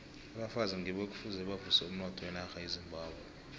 abafazi ngibo ekufuze bavuse umnotho wenarha yezimbabwe